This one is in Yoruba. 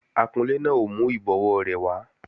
Akunlé náà ò mú ìbọwó rẹ̀ wá